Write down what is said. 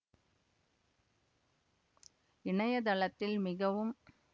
இணையத்தளத்தில் மிகவும்